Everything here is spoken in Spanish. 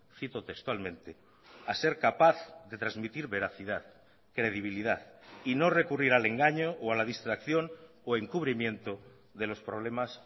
cito textualmente a ser capaz de transmitir veracidad credibilidad y no recurrir al engaño o a la distracción o encubrimiento de los problemas